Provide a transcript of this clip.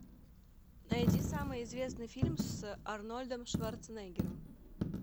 найди самый известный фильм с арнольдом шварценеггером